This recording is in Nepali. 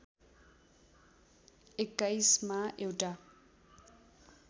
२१ मा एउटा